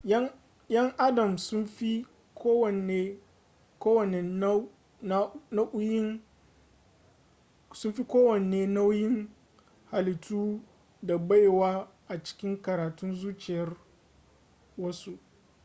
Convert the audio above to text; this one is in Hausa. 'yan adam sun fi kowane nau'in halittu da baiwa a cikin karatun zuciyar wasu